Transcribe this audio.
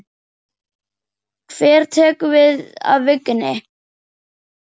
Hver tekur við af Vigni?